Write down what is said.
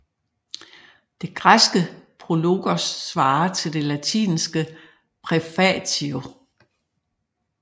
Det græske prologos svarer til det latinske praefatio